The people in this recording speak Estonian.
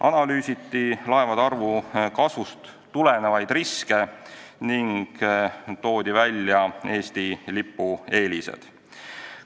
Analüüsiti laevade arvu kasvust tulenevaid riske ning toodi välja Eesti lipu eelised.